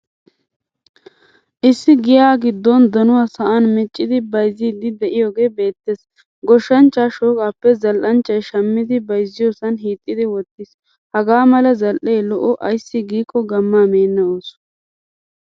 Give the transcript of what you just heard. Issi giya giddon donuwaa sa'an miccidi bayzzidi deiyoge beetees. Goshshanchcha shoqqappe zal'anchchay shamidi bayzziyosan hiixidi wottiis. Haga mala zal'ee lo'o. Ayssi giiko gamaa meena ooso.